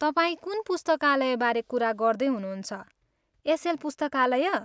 तपाईँ कुन पुस्तकालयबारे कुरा गर्दै हुनुहुन्छ, एसएल पुस्तकालय?